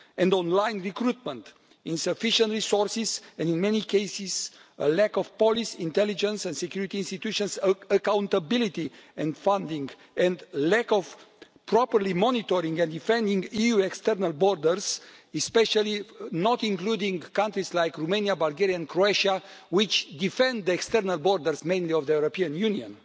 online recruitment, insufficient resources and, in many cases, a lack of police intelligence and security institutions' accountability and funding, and a lack of properly monitoring and defending EU external borders, especially not including countries like Romania, Bulgaria and Croatia, which defend the external borders mainly of the European Union.